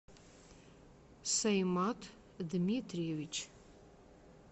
саимат дмитриевич